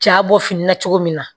Ja bɔ fini na cogo min na